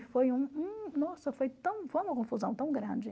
E foi um nossa foi tão foi uma confusão tão grande.